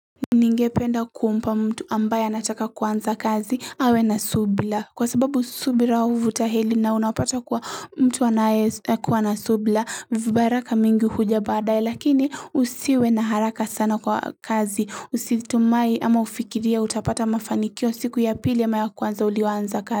Ningependa kumpa mtu ambaye anataka kuanza kazi awe na subira kwa sababu subira huvuta heri na unapata kuwa mtu anae kuwa na subira vibaraka mingi huja baadae lakini usiwe na haraka sana kwa kazi usitumai ama ufikiria utapata mafanikio siku ya pili ya ama ya kwanza ulioanza kazi.